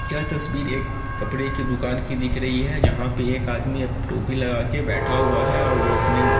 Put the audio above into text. यह तस्वीर एक कपड़े की दुकान की दिख रही है जहां पे एक आदमी अप टोपी लगा के बैठा हुआ है और वो अपने --